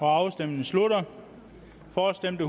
afstemningen slutter for stemte